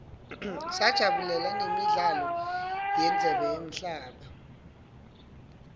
sajabulela nemidlalo yendzebe yemhlaba